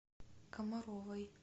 комаровой